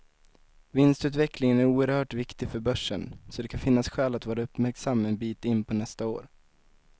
Vinstutvecklingen är oerhört viktig för börsen, så det kan finnas skäl att vara uppmärksam en bit in på nästa år.